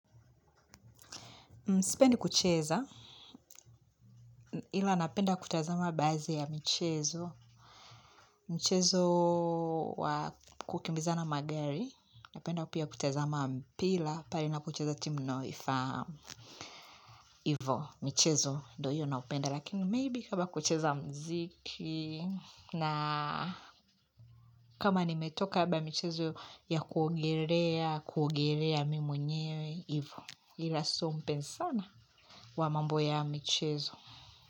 Sipendi kucheza, ila napenda kutazama baadhi ya michezo, mchezo wa kukimbizana magari, napenda pia kutazama mpira, pale inapocheza timu ninayoifahamu, ivyo michezo ndiyo hiyo naopenda, lakini maybe labda kucheza muziki, na kama nimetoka labda michezo ya kuogelea, kuogelea mimi menyewe, ivyo, ila sio mpenzi sana wa mambo ya michezo.